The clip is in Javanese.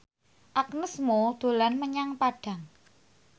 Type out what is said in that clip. Agnes Mo dolan menyang Padang